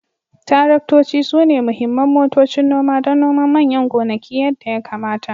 Taraktoci sune muhimman motocin noma don noman manyan gonaki yadda ya kamata